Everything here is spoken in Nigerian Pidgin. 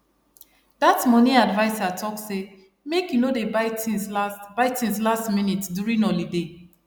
dat money adviser talk say make you no dey buy things last buy things last minute during holiday